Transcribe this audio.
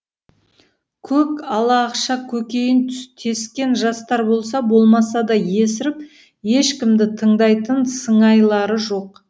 көк ала ақша көкейін тескен жастар болса болмаса да есіріп ешкімді тыңдайтын сыңайлары жоқ